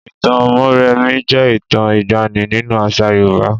Ìtàn Mórèmí jẹ́ ìtàn ìgbanì nínú àṣà Yorùbá.